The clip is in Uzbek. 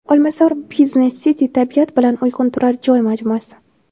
Olmazor Business City: tabiat bilan uyg‘un turar joy majmuasi.